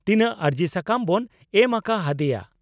ᱛᱤᱱᱟᱝ ᱟᱨᱡᱤ ᱥᱟᱠᱟᱢ ᱵᱚᱱ ᱮᱢ ᱟᱠᱟ ᱦᱟᱫᱤᱭᱟ?